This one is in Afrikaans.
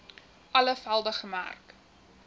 alle velde gemerk